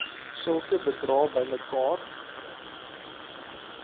sulke bedrae bymekaar